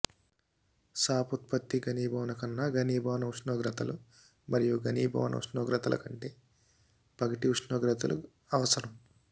సాప్ ఉత్పత్తి ఘనీభవన కన్నా ఘనీభవన ఉష్ణోగ్రతలు మరియు ఘనీభవన ఉష్ణోగ్రతల కంటే పగటి ఉష్ణోగ్రతలు అవసరం